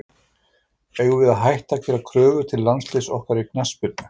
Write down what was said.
Eigum við að hætta að gera kröfur til landsliðs okkar í knattspyrnu?